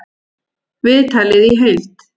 Viðtalið í heild